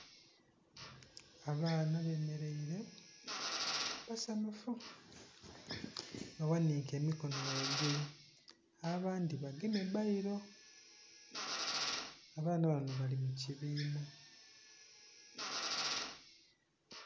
Abaana bemereire basanhufu baghanhike emikono ghaigulu abandhi bagemye bbairo, abaana bano bali mu kibiina.